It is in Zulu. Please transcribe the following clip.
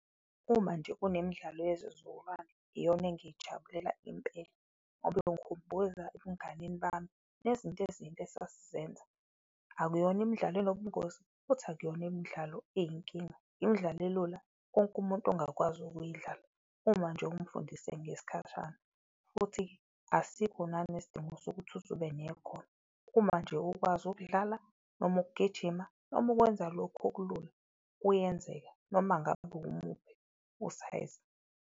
Uma nje kunemidlalo yezizukulwane iyona engayijabulela impela ngoba ingikhumbuza ebunganeni bami, nezinto esasizenza. Akuyona imidlalo enobungozi futhi akuyona imidlalo eyinkinga, imidlalo elula wonke umuntu ongakwazi ukuyidlala uma nje umfundise ngesikhashana, futhi asikho nanesidingo sokuthi uzube nekhono. Uma nje ukwazi ukudlala noma ukugijima, noma ukwenza lokhu okulula, kuyenzeka noma ngabe umuphi usayizi.